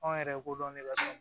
Anw yɛrɛ ko dɔn ne b'a dɔn